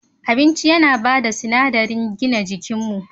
Abinci yana ba da sinadari gina jikinmu.